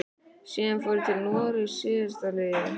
Síðan fór ég til Noregs síðastliðið haust.